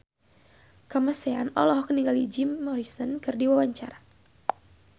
Kamasean olohok ningali Jim Morrison keur diwawancara